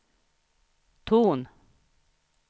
ton